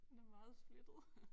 Den er meget splittet